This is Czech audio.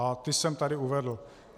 A ty jsem tady uvedl.